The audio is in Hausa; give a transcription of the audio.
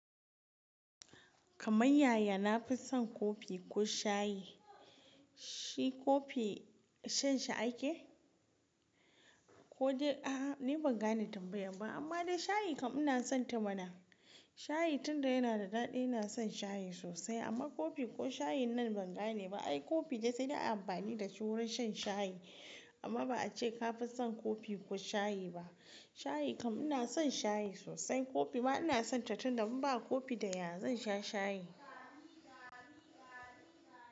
Kama yaya nafi son kofi ko shayi, shi kofi shan shi ake? Ko dai a'a ni ban gane tambayan ba amma dai shayi kam ina son ta mana. Shayi tunda yana da daɗi ina son shayi sosai amma kofi ko shayin nan ban gane ba. Ai kofi dai sai dai ana amfani dashi wurin shan shayi amma ba a ce ka fi son kofi ko shayi ba. Shayi kam ina son shayi sosai, kofi ma ina son ta tunda mun ba kofi da ya zan sha shayi.